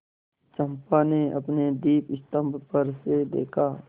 चंपा ने अपने दीपस्तंभ पर से देखा